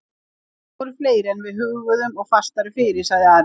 Þeir eru fleiri en við hugðum og fastari fyrir, sagði Ari.